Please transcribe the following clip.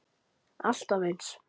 Alltaf eins!